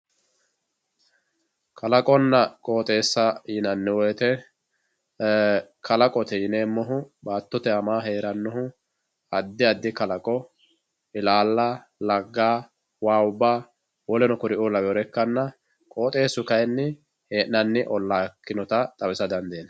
Kalaqonna qooxesa yinani woyite kalaqote yineemohu baatote anani heranohu adi adi kalaqo ilaala lagga waawubba w.k.l ikanna qooxesu kayini heenani olaa ikinota xawisa dandinani.